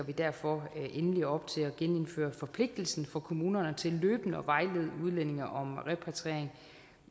vi derfor endelig op til at genindføre forpligtelsen for kommunerne til løbende at vejlede udlændinge om repatriering